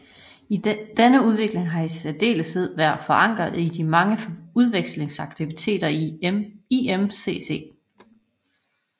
Denne udvikling har i særdeleshed været forankret i de mange udvekslingsaktiviteter i IMCC